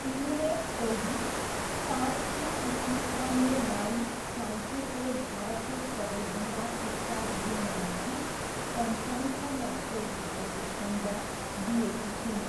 Emirates चौबिस, सात की स्नेहा में लाई फ्रान्सिसले भारतको सबैभन्दा कुख्यात गुन्डामाथि सनसनीपूर्ण टेक भएको संज्ञा दिएकी छिन्।